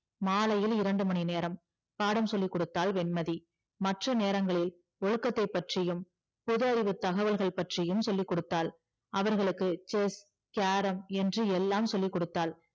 மாலையில் இரண்டு மணி நேரம் பாடம் சொல்லிகுடுத்தால் வெண்மதி மற்ற நேரங்களில் ஒழுக்கத்தை பத்தியும் போது அறிவு தகவல்கள் பற்றியும் சொல்லிகொடுத்தால் அவர்களுக்கு chess carrom என்று எல்லாம் சொல்லி கொடுத்தால்